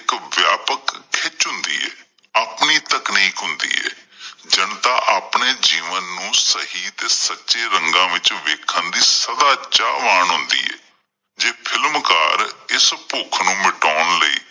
ਆਪਣੀ ਤਕਨੀਕ ਹੁੰਦੀ ਏ ਜਨਤਾ ਆਪਣੇ ਜੀਵਨ ਨੂੰ ਸਹੀ ਤੇ ਸੱਚੇ ਰੰਗਾਂ ਵਿੱਚ ਵੇਖਣ ਦੀ ਸਦਾ ਚਾਹਵਾਨ ਹੁੰਦੀ ਐ, ਜੇ ਫ਼ਿਲਮਕਾਰ ਇਸ ਭੁੱਖ ਨੂੰ ਮਿਟਾਉਣ ਲਈ